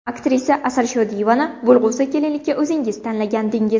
Aktrisa Asal Shodiyevani bo‘lg‘usi kelinlikka o‘zingiz tanlagandingiz.